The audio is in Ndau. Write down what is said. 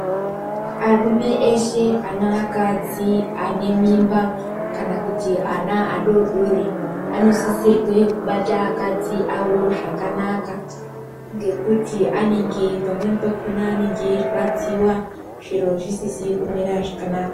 Arume eshe ane akadzi ane mimba, kana kuti ana adodori anosisirwe kubata akadzi awo zvakanaka ngekuti anenge pamweni pakhona anenge eirwadziwa zviro zvisizi kumira zvakanaka.